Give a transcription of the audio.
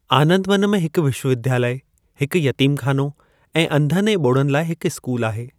आनंदवन में हिक विश्वविद्यालय, हिक यतीमखानो ऐं अंधनि ऐं ॿोड़नि लाइ हिक स्कूल आहे।